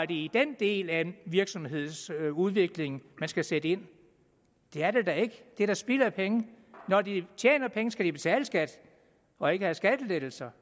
i den del af virksomhedsudviklingen man skal sætte ind det er det da ikke det er da spild af penge når de tjener penge skal de betale skat og ikke have skattelettelser